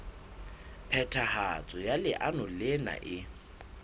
phethahatso ya leano lena e